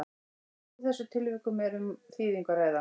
í öllum þessum tilvikum er um þýðingu að ræða